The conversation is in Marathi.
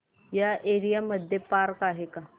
या एरिया मध्ये पार्क आहे का